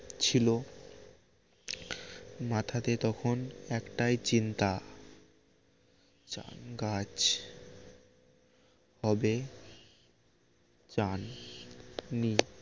ছিল মাথাতে তখন একটাই চিন্তা জাম গাছ হবে চান নি